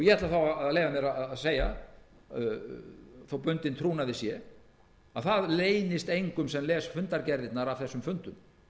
ég ætla að leyfa mér að segja þótt bundinn trúnaði sé að það leynist engum sem les fundargerðirnar af þessum fundum